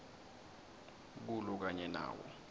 kulo kanye nawo